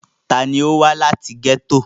ta ni ó wá láti gẹ́tò?